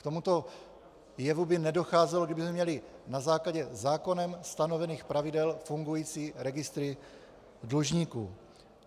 K tomuto jevu by nedocházelo, kdybychom měli na základě zákonem stanovených pravidel fungující registry dlužníků.